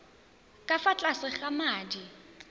ka fa tlase ga madi